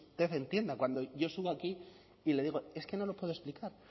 usted entienda cuando yo subo aquí y le digo es que no lo puedo explicar